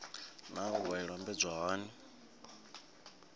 naa wua i lambedzwa hani